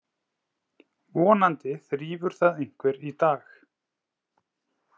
Vonandi þrífur það einhver í dag.